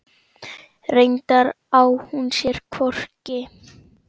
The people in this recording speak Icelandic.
Reyndar á hún sér hvorki